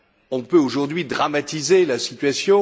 On peut aujourd'hui dramatiser la situation